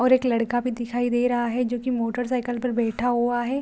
और एक लड़का भी दिखाई दे रहा है जो की मोटरसाइकिल पर बैठा है।